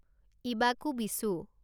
ইবাঁকু বিচু